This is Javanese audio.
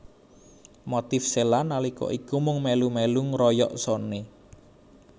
Motif Cella nalika iku mung melu melu ngeroyok Sony